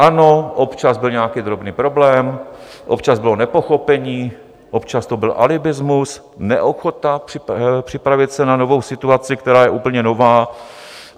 Ano, občas byl nějaký drobný problém, občas bylo nepochopení, občas to byl alibismus, neochota připravit se na novou situaci, která je úplně nová.